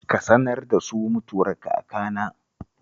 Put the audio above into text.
Ka sanar da su mutuwar kakana